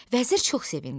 Vəzir çox sevindi.